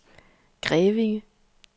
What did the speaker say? Grevinge